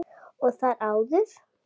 Og þar áður?